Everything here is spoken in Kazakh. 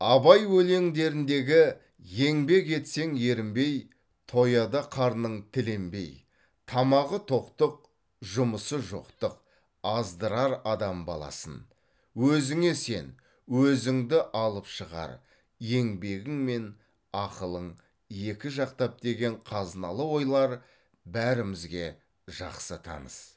абай өлеңдеріндегі еңбек етсең ерінбей тояды қарның тіленбей тамағы тоқтық жұмысы жоқтық аздырар адам баласын өзіңе сен өзіңді алып шығар еңбегің мен ақылың екі жақтап деген қазыналы ойлар бәрімізге жақсы таныс